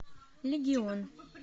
легион